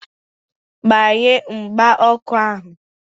Gbanye mgba ọkụ ahu!